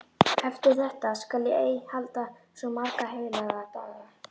Eftir þetta skal ég ei halda svo marga heilaga daga.